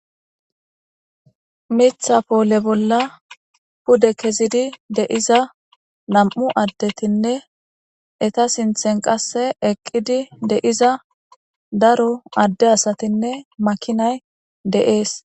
Miththa poole bolla pude kezidi de'iza nam'u addetinne eta sinththen qasse eqqidi de'iza daro adde asatinne makinay de'es.